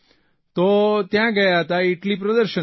તો ત્યાં ગયા હતા ઇટલી પ્રદર્શનમાં